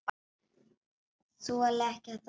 Þoli ekki þetta líf hérna.